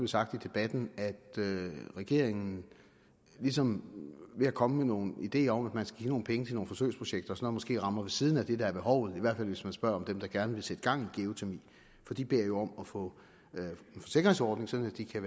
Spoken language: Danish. sagt i debatten at regeringen ligesom ved at komme med nogle ideer om at nogle penge til nogle forsøgsprojekter så måske rammer ved siden af det der er behovet i hvert fald hvis man spørger dem der gerne vil sætte gang i geotermi for de beder jo om at få en forsikringsordning sådan at de kan